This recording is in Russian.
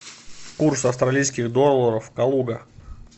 курс австралийских долларов калуга